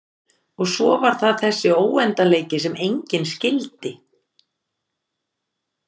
Og svo var það þessi óendanleiki sem enginn skildi.